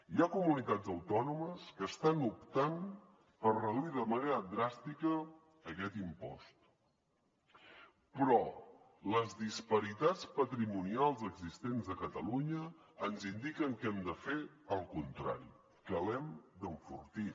hi ha comunitats autònomes que estan optant per reduir de manera dràstica aquest impost però les disparitats patrimonials existents a catalunya ens indiquen que hem de fer el contrari que l’hem d’enfortir